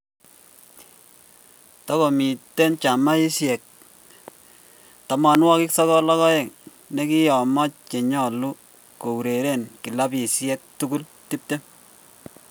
Tago miten gemisiek 92 nkiyomo che nyolu koureren kilabisiek tugul 20